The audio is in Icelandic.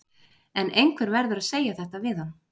En einhver verður að segja þetta við hann.